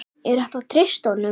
Er hægt að treysta honum?